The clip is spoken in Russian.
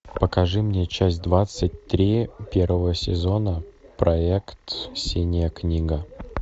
покажи мне часть двадцать три первого сезона проект синяя книга